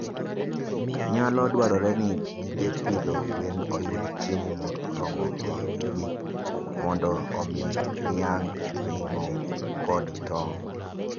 Nyalo dwarore ni gige pidho gwen oyud chiemo moromogi, mondo omi ginyag ring'o kod tong'.